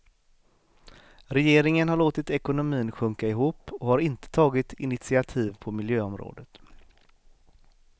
Regeringen har låtit ekonomin sjunka ihop och har inte tagit initiativ på miljöområdet.